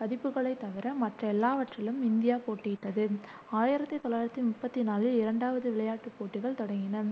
பதிப்புகளைத் தவிர மற்ற எல்லாவற்றிலும் இந்தியா போட்டியிட்டதுஆயிரத்தி தொள்ளாயிரத்தி முப்பத்தி நாலில் இரண்டாவது விளையாட்டுப் போட்டிகள் தொடங்கின